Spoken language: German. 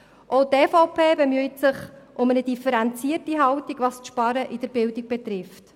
Auch die EVP bemüht sich um eine differenzierte Haltung, was das Sparen bei der Bildung betrifft.